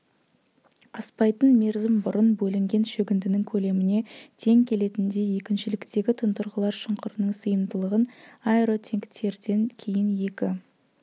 аспайтын мерзім бұрын бөлінген шөгіндінің көлеміне тең келетіндей екіншіліктегі тұндырғылар шұңқырының сыйымдылығын аэротенктерден кейін екі